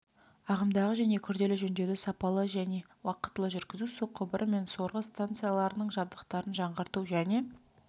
ағымдағы және күрделі жөндеуді сапалы және уақытылы жүргізу су құбыры мен сорғы станцияларының жабдықтарын жаңғырту және